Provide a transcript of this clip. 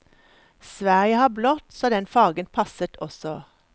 Sverige har blått, så den fargen passet også.